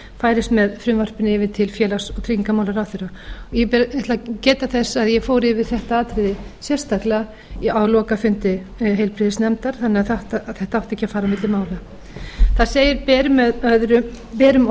færist með frumvarpinu yfir til félags og tryggingamálaráðherra ég ætla að geta þess að ég fór yfir þetta atriði sérstaklega á lokafundi heilbrigðisnefndar þannig að þetta átti ekki að fara á milli mála það segir berum